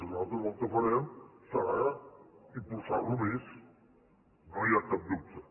nosaltres el que farem serà impulsar ho més no hi ha cap dubte